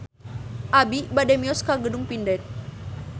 Abi bade mios ka Gedung Pindad